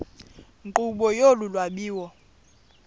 nkqubo yolu lwabiwo